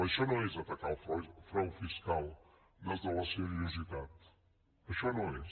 això no és atacar el frau fiscal des de la seriositat això no ho és